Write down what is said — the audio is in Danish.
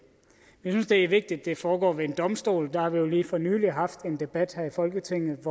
jeg synes det er vigtigt at det foregår ved en domstol vi har jo lige for nylig haft en debat her i folketinget